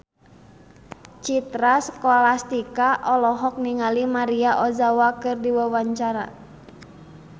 Citra Scholastika olohok ningali Maria Ozawa keur diwawancara